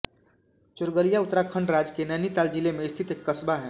चोरगलिया उत्तराखण्ड राज्य के नैनीताल जिले में स्थित एक क़स्बा है